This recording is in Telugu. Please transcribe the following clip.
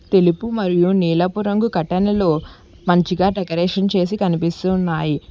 తెలుపు మరియు నీలపు రంగు కటనులో మంచిగా డెకరేషన్ చేసి కనిపిస్తు ఉన్నాయి.